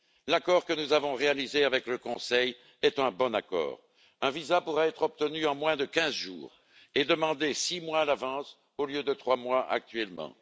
L'accord que nous avons réalisé avec le Conseil est un bon accord. Un visa pourra être obtenu en moins de 15 jours et être demandé six mois à l'avance, au lieu de trois mois actuellement.